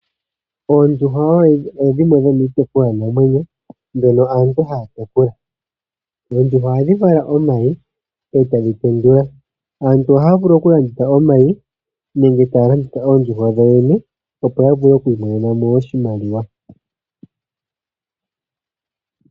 Oondjuhwa odho dhimwe dhomiitekulwa namwenyo mbyono aantu haya tekula. Oondjuhwa ohadhi vala omayi etadhi tendula. Aantu ohaya vulu oku landitha omayi nenge taya landitha oondjuhwa dhawo yoyene opo yavule okumonamo oshinima.